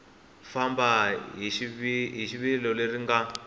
famba hi rivilo leri nga